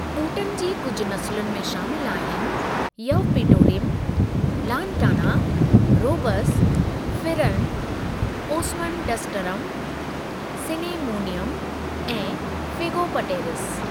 ॿूटिन जी कुझु नसुलनि में शामिलु आहिनि यवपीटोरीम, लानटाना, रोबस, फिरनि, ओसमनडसटरम सिनेमोनियम، ऐं फ़िगोपटेरिस।